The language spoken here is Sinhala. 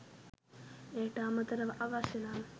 එයට අමතරව අවශ්‍ය නම්